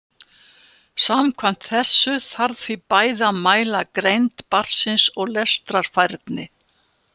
Samkvæmt þessu þarf því bæði að mæla greind barnsins og lestrarfærni.